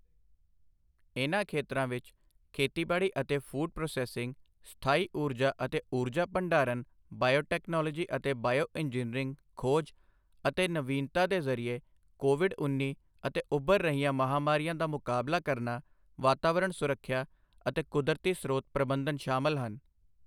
ਇਨ੍ਹਾਂ ਖੇਤਰਾਂ ਵਿੱਚ ਖੇਤੀਬਾੜੀ ਅਤੇ ਫ਼ੂਡ ਪ੍ਰੋਸੈੱਸਿੰਗ ਸਥਾਈ ਊਰਜਾ ਅਤੇ ਊਰਜਾ ਭੰਡਾਰਨ ਬਾਇਓਟੈਕਨੋਲੋਜੀ ਅਤੇ ਬਾਇਓਇੰਜਨੀਅਰਿੰਗ ਖੋਜ ਅਤੇ ਨਵੀਨਤਾ ਦੇ ਜ਼ਰੀਏ ਕੋਵਿਡ ਉੱਨੀ ਅਤੇ ਉੱਭਰ ਰਹੀਆਂ ਮਹਾਮਾਰੀਆਂ ਦਾ ਮੁਕਾਬਲਾ ਕਰਨਾ ਵਾਤਾਵਰਣ ਸੁਰੱਖਿਆ ਅਤੇ ਕੁਦਰਤੀ ਸਰੋਤ ਪ੍ਰਬੰਧਨ ਸ਼ਾਮਲ ਹਨ।